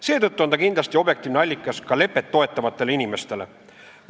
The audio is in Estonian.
Seetõttu on ta kindlasti objektiivne allikas ka lepet toetavatele inimestele.